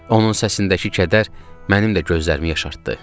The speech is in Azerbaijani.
Onun səsindəki kədər mənim də gözlərimi yaşartdı.